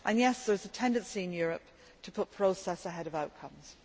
And yes, there is a tendency in Europe to put process ahead of outcomes.